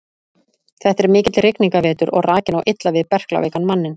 Þetta er mikill rigningarvetur og rakinn á illa við berklaveikan manninn.